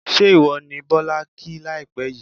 ṣé ìwọ ni Bọ́lá kí láìpẹ́ yìí?